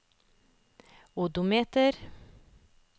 odometer